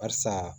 Barisa